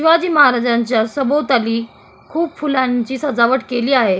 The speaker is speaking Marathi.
शिवाजी महाराज्यांच्या सभोवताली खूप फुलांची सजावट केली आहे.